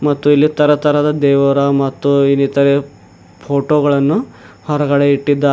ಮತ್ತು ಇಲ್ಲಿ ತರತರದ ದೇವರ ಮತ್ತು ಇನ್ನಿತರೆ ಫೋಟೋಗಳನ್ನು ಹೊರಗಡೆ ಇಟ್ಟಿದ್ದಾ--